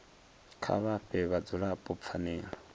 kha vha fhe vhadzulapo pfanelo